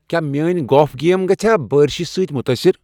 کیا میٲنۍ golf game گژھیاہ بٲرشِہ سۭتۍ مُتٲثر؟